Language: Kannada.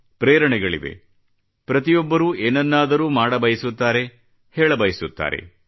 ಪ್ರೇರಣೆಗಳಿವೆ ಪ್ರತಿಯೊಬ್ಬರೂ ಏನನ್ನಾದರೂ ಮಾಡಬಯಸುತ್ತಾರೆ ಹೇಳಬಯಸುತ್ತಾರೆ